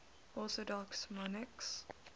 orthodox monarchs